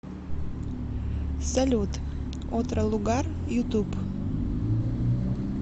салют отро лугар ютуб